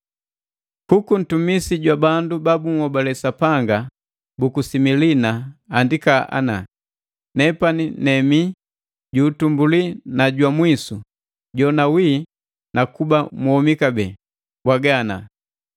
“Kuku ntumisi jwa bandu ba bunhobale Sapanga buku Similina andika ana.” “Nepani nemi ju utumbuli na jwa mwisu, jona wii na kuba mwomi kabee, mbwaga ana: